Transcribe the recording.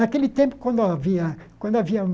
Naquele tempo, quando havia quando havia